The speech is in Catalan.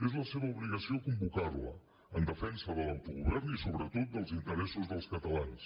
és la seva obligació convocar la en defensa de l’autogovern i sobretot dels interessos dels catalans